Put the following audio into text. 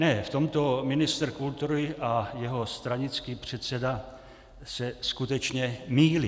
Ne, v tomto ministr kultury a jeho stranický předseda se skutečně mýlí.